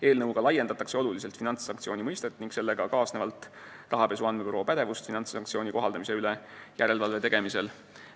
Eelnõuga laiendatakse oluliselt finantssanktsiooni mõistet ning sellega kaasnevalt rahapesu andmebüroo pädevust finantssanktsioonide kohaldamise üle järelevalve tegemisel.